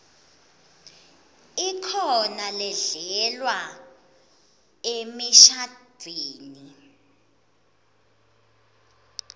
ikhona ledlalwa emishadvweni